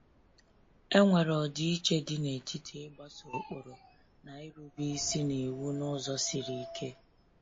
E nwere ọdịiche dị n’etiti ịgbaso ụkpụrụ na irube isi n’iwu n’ụzọ siri ike.